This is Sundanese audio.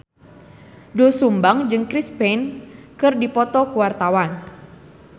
Doel Sumbang jeung Chris Pane keur dipoto ku wartawan